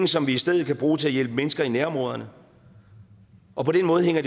som vi i stedet kan bruge til at hjælpe mennesker i nærområderne og på den måde hænger